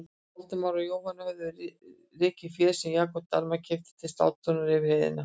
Valdimar og Jóhann höfðu rekið féð sem Jakob Dalmann keypti til slátrunar yfir heiðina.